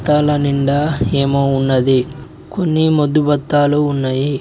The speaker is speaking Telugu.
డ్యాంల నిండా ఏమో ఉన్నది కొన్ని మధుబత్తలు ఉన్నాయి.